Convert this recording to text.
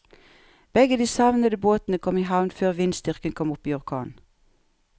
Begge de savnede båtene kom i havn før vindstyrken kom opp i orkan.